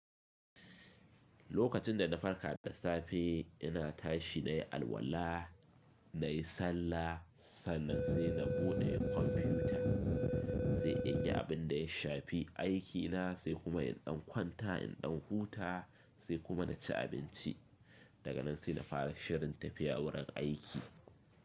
Lokacin da na farka da safe, ina tashi nayi alwala, nayi sallah, sannan sai na buɗe kwamfiyuta, sai in yi abin da ya shafi aikina sai kuma in ɗan kwanta, in ɗan huta sai kuma na ci abinci. Daga nan sai na fara shirin tafiya wurin aiki.